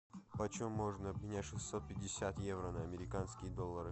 почем можно обменять шестьсот пятьдесят евро на американские доллары